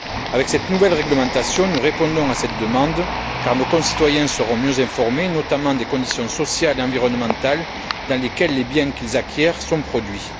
Avec cette nouvelle réglementation, nous répondons à cette demande car nos concitoyens seront mieux informés, notamment des conditions sociales et environnementales dans lesquelles les biens qu'ils acquièrent sont produits.